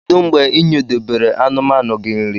Kedu mgbe inyedobere anumanu gi nri?